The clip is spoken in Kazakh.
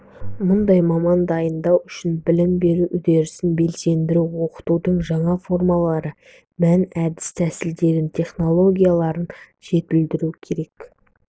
мұндай маман дайындау үшін білім беру үдерісін белсендіру оқытудың жаңа формалары мен әдіс-тәсілдерін технологияларын жетілдіру керек